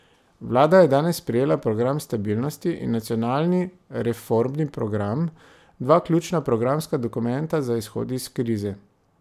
Vlada je danes sprejela program stabilnosti in nacionalni reformni program, dva ključna programska dokumenta za izhod iz krize.